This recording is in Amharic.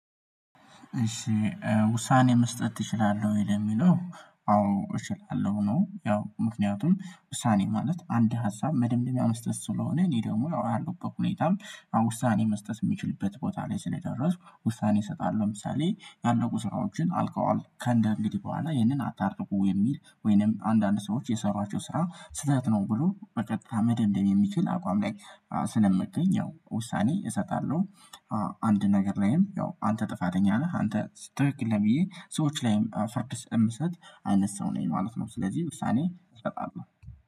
ውሳኔ መስጠት እችላለሁ ወይ? ለሚለው አዎ እችላለሁ ነው። ያው ምክንያቱም ውሳኔ ማለት አንድ ሀሳብ መደምደሚያ መስጠት ስለሆነ፤ እኔ ደግሞ ያው ባለውበት በሁኔታም ውሳኔ መስጠት የሚችልበት ቦታ ላይ ስለ ደረስኩ ውሳኔ እሰጣለሁ። ለምሳሌ ያለቁ ስራዎችን አልቀዋል ከእንግዲህ በኋላ ይህንን አታደርጉ የሚል፤ ወይንም አንዳንድ ሰዎች የሰሯቸውን ስራ ስህተት ነው ብሎ በቀጥታ መደምደም የሚችል አቋም ላይ ስለመገኝ ያው ውሳኔ እሰጣለሁ። አንድ ነገር ላይም ያው አንተ ጥፋተኛ ነህ፤ አንተ ትክክል ነህ ብዬ ሰዎች ላይም ፍርድ ስለምሰጥ፤ አይነት ሰው ነኝ ማለት ነው ስለዚህ ውሳኔ እሰጣለሁ።